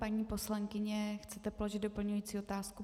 Paní poslankyně, chcete položit doplňující otázku?